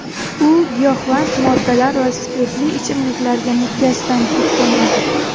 U giyohvand moddalar va spirtli ichimliklarga mukkasidan ketgan edi.